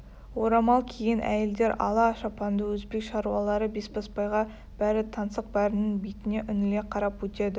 орамал киген әйелдер ала шапанды өзбек шаруалары бесбасбайға бәрі таңсық бәрінің бетіне үңіле қарап өтеді